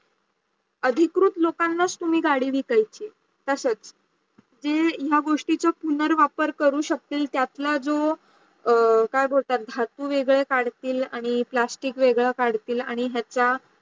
अधिकृत् लोकांना तुम्ही गाडी विकायची आहे. असंच, जे या गोष्टीया पुन्हार वापर करू शकतो त्यातला जो काय बोलतात, धातू वेगड्या काढतील आणी plastic वेगड्या काढतील आणी हायचा